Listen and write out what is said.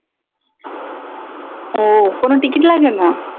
ও কোনো টিকিট লাগেনা?